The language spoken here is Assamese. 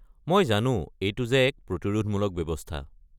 মই জানো, এইটো যে এক প্ৰতিৰোধমূলক ব্যৱস্থা।